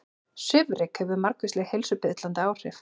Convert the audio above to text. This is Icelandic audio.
Svifryk hefur margvísleg heilsuspillandi áhrif